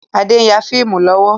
Adé n ya fíìmù lọ́wọ́.